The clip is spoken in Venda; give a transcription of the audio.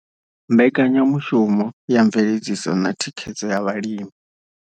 Mbekanya mushumo ya Mveledziso na Thikhedzo ya Vhalimi.